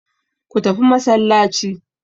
Go to mosque.